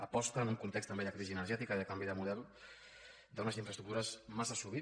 aposta en un context també de crisi energètica i de canvi de model per unes infraestructures massa sovint